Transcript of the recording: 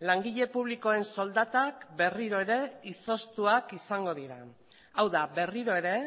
langile publikoen soldatak berriro ere izoztuak izango dira hau da berriro ere